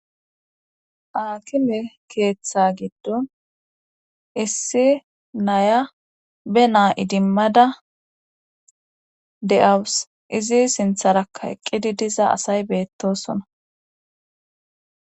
akime keeththa giddon issi naya be naa idimmada de7awus izi sintharaka eqqidi diza asay beettosona